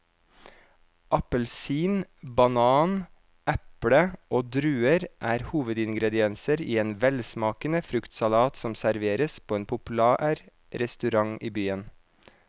Appelsin, banan, eple og druer er hovedingredienser i en velsmakende fruktsalat som serveres på en populær restaurant i byen.